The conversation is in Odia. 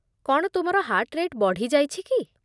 କ'ଣ ତୁମର ହାର୍ଟ ରେଟ୍ ବଢ଼ି ଯାଇଛି କି?